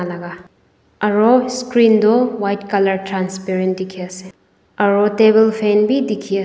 laka aro screen toh white colour transparent dikhiase aro table fan bi dikhiase.